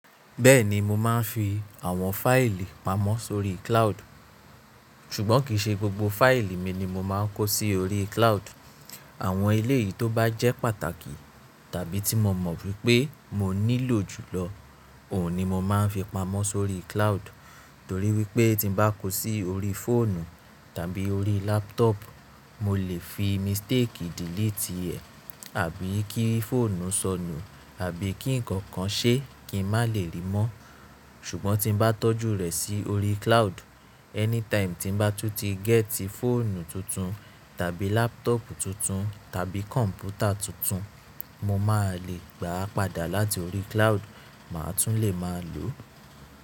Bẹ́ẹ̀ni mo máa ń fi àwọn fáìlì pamọ́ sórí cloud, ṣùgbọ́n kì í ṣe gbogbo fáìlì mi ni mo máa ń kó sí orí cloud. Àwọn eléyìí tó bá jẹ́ pàtàkì tàbí tí mo mọ̀ wípé mo nílò jùlọ, òun ni mo máa ń fi pamọ́ sórí cloud. Torí wípé tí n bá kó sí orí fóònù tàbí orí laptop, mo lè fi mistake delete ẹ̀, àbí kí fóònù sọnù, àbí kí ǹkan kan ṣe kí ń má lè rí mọ́. Ṣùgbọ́n tí n bá tọ́jú rẹ̀ sí orí cloud, anytime tí n bá tún ti gẹ́tì fóònù tuntun tàbí laptop tuntun tàbí kọ̀m̀pútà tuntun, mo máa lè gbà á padà láti orí cloud, màá tún lè máa lò ó.